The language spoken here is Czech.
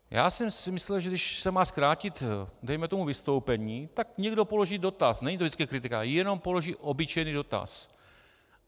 Já jsem si myslel, že když se má zkrátit dejme tomu vystoupení, tak někdo položí dotaz, není to vždycky kritika, jenom položí obyčejný dotaz.